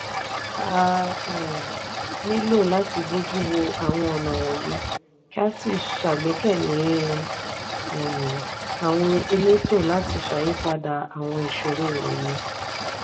a um nílò láti bojuwò àwọn ọnà wọnyi kí a si ṣàgbékalẹ̀ um àwọn eleto láti ṣàyípadà àwọn ìṣòro wọnyii.